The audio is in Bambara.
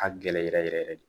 A gɛlɛ yɛrɛ yɛrɛ de